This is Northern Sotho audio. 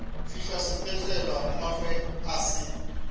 fihla sepetlele mmagwe a se